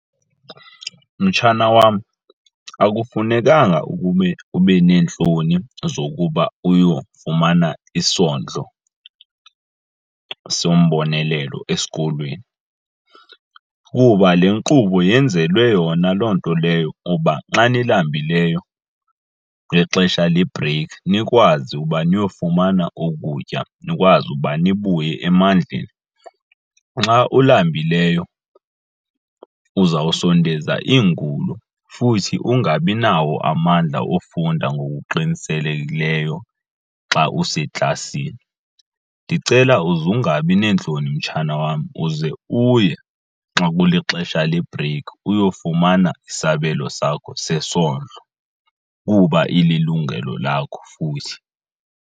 Mtshana wam, akufunekanga ukube ube neentloni zokuba uyofumana isondlo sombonelelo esikolweni kuba le nkqubo yenzelwe yona loo nto leyo, kuba xa nilambileyo ngexesha lebhreyikhi nikwazi uba niyofumana ukutya nikwazi ukuba nibuye emandleni. Nxa ulambileyo uzawusondeza iingulo futhi ungabi nawo amandla ofunda ngokuqinisekileyo xa useklasini. Ndicela uze ungabi neentloni mtshana wam uze uye nxa kulixesha lebhreyikhi uyofumana isabelo sakho sesondlo kuba ililungelo lakho futhi.